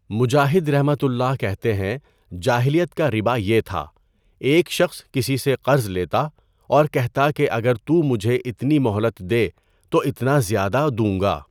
مجاہدؒ کہتے ہیں جاہلیت کا رِبا یہ تھا، ایک شخص کسی سے قرض لیتا اور کہتا کہ اگر تو مجھے اتنی مہلت دے تو اتنا زیادہ دوں گا۔